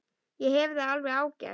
Ég hef það alveg ágætt.